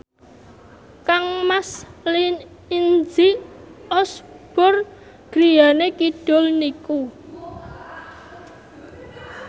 kangmas Izzy Osborne griyane kidul niku